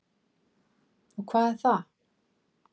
Og hvar er það?